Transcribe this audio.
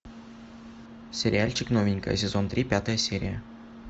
сериальчик новенькая сезон три пятая серия